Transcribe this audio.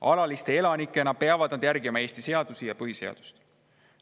Alaliste elanikena peavad nad järgima põhiseadust ja Eesti seadusi.